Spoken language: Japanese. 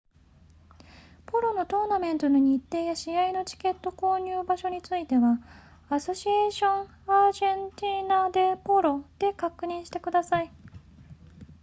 ポロのトーナメントの日程や試合のチケット購入場所については asociacion argentina de polo でご確認ください